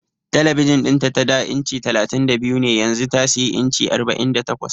Talabijin din ta tada inci 32 ne yanzu ta siyi inci 48